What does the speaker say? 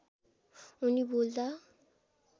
उनी बोल्दा